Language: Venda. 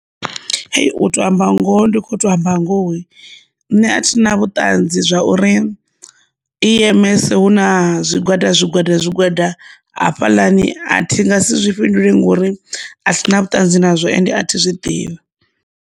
Hai, u tou amba ngoho ndi kho to amba ngoho nṋe a thi na vhuṱanzi zwa uri E_M_S hu na zwigwada zwigwada zwigwada hafhaḽani a thi nga si zwi fhinduleli ngori a sina vhuṱanzi nazwo ende a thi zwiḓivhi.